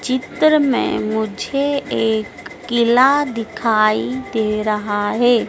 चित्र में मुझे एक किला दिखाई दे रहा है।